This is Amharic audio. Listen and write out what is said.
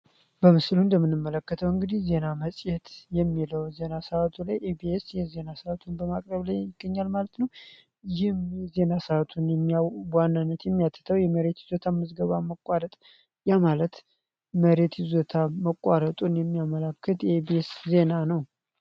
በምስሉ እንደምንመለከተው እንግዲህ ዜና መጽየት የሚለው ዜና ሰዓቱ ላይ ኤቢስ የዜና ሰዓቱን በማቅረብ ላይ ይገኛል ማለት ነው ይህም የዜና ሰዓቱን በዋናነት የሚያተተው የመሬት ይዘታ መዝገባ መቋረጥ ያማለት መሬት ይዘታ መቋረጡን የሚያመላክት ኤቢስ ዜና ነው።